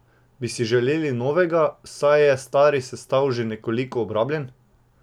Bi si želeli novega, saj je stari sestav že nekoliko obrabljen?